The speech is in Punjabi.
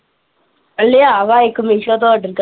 ਲੇਇਆ ਵਾ ਇਕ ਮਿਸ਼ੋ ਤ ਆਰਡਰ ਕਰ ਕੇ।